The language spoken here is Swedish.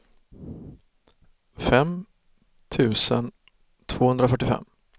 fem tusen tvåhundrafyrtiofem